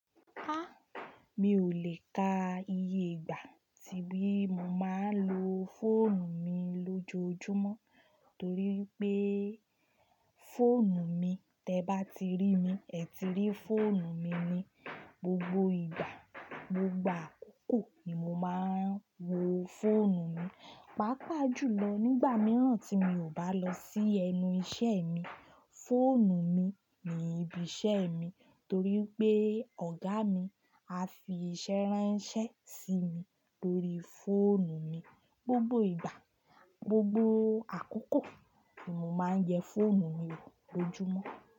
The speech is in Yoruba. Há! Mi ò lè ka iye ìgbà tí mo máa ń lo fóònù mi lójoojúmọ́ torí pé fóònù mi, tí ẹ bá ti rí mi, ẹ ti rí fóònù mi ni. Gbogbo ìgbà, gbogbo àkókò ni mo máa ń wo fóònù mi. Pàápàá jùlọ nígbà mìíràn tí mi ò bá lọ sí ẹnu iṣẹ́ mi, fóònù mi ni ibi iṣẹ́ mi torí pé ọ̀gá mi a fi iṣẹ́ rán iṣẹ́ sí mi lórí fóònù mi. Gbogbo ìgbà, gbogbo àkókò ni mo máa ń yẹ fóònù mi wò lójúmọ́.